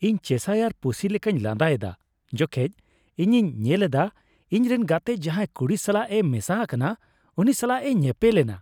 ᱤᱧ ᱪᱮᱥᱟᱭᱟᱨ ᱯᱩᱥᱤ ᱞᱮᱠᱟᱧ ᱞᱟᱸᱫᱟ ᱮᱫᱟ ᱡᱚᱠᱷᱮᱡ ᱤᱧᱤᱧ ᱧᱮᱞ ᱮᱫᱟ ᱤᱧ ᱨᱮᱱ ᱜᱟᱛᱮ ᱡᱟᱦᱟᱭ ᱠᱩᱲᱤ ᱥᱟᱞᱟᱜ ᱮ ᱢᱮᱥᱟ ᱟᱠᱟᱱᱟ ᱩᱱᱤ ᱥᱟᱞᱟᱜ ᱮ ᱧᱮᱯᱮᱞ ᱮᱱᱟ ᱾